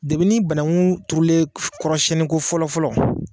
ni banakun turulen kɔrɔsiyɛnni ko fɔlɔ fɔlɔ